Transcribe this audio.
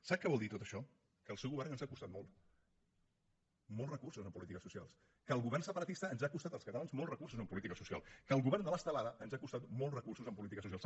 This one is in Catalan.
sap què vol dir tot això que el seu govern ens ha costat molt molts recursos en polítiques socials que el govern separatista ens ha costat als catalans molts recursos en polítiques socials que el govern de l’estelada ens ha costat molts recursos en polítiques socials